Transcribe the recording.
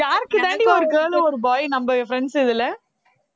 யாருக்குதாண்டி ஒரு girl ம் ஒரு boy நம்ம friends இதுல